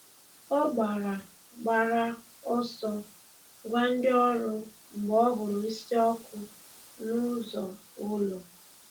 Ọ gbàrà gbàrà ọsọ gwa ndị ọrụ mgbe ọ hụrụ̀ ísì ọkụ̀ n’ụzọ ụlọ̀.